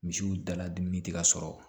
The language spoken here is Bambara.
Misiw dala dumuni tɛ ka sɔrɔ